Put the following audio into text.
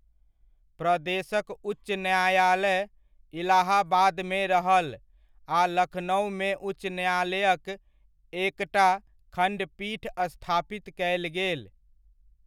प्रदेशक उच्च न्यायालय, इलाहाबादमे रहल आ लखनउमे उच्च न्यायालयक एकटा खण्डपीठ स्थापित कयल गेल।